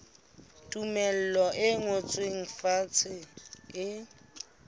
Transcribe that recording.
tumello e ngotsweng fatshe e